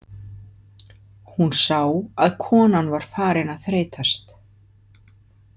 Hún sá að konan var farin að þreytast.